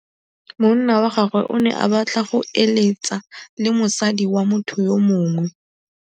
Monna wa gagwe o ne a batla go êlêtsa le mosadi wa motho yo mongwe.